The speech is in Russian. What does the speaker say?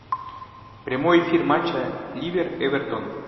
прямой эфир матча ливер эвертон